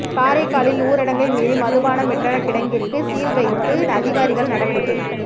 காரைக்காலில் ஊரடங்கை மீறி மதுபானம் விற்ற கிடங்கிற்கு சீல் வைத்து அதிகாரிகள் நடவடிக்கை